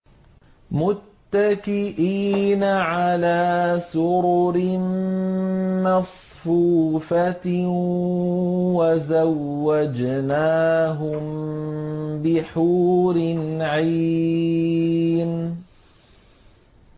مُتَّكِئِينَ عَلَىٰ سُرُرٍ مَّصْفُوفَةٍ ۖ وَزَوَّجْنَاهُم بِحُورٍ عِينٍ